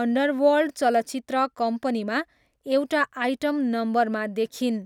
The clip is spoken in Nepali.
अन्डरवर्ल्ड चलचित्र कम्पनीमा एउटा आइटम नम्बरमा देखिइन्।